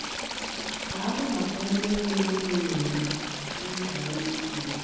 “Daalụ maka ihe niile unu na-eme n’ihi anyị niile.